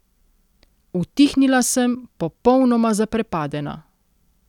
Utihnila sem, popolnoma zaprepadena.